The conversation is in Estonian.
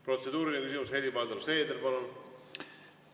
Protseduuriline küsimus, Helir-Valdor Seeder, palun!